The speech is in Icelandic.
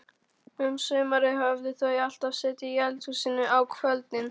Um sumarið höfðu þau alltaf setið í eldhúsinu á kvöldin.